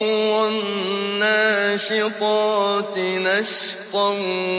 وَالنَّاشِطَاتِ نَشْطًا